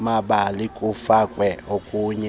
mabali kufakwe okunye